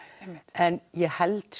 en ég held